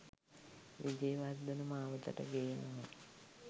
විජේවර්ධන මාවතට ගේනවා